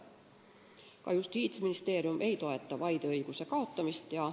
Ka Justiitsministeerium ei toeta vaideõiguse kaotamist.